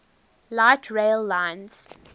light rail lines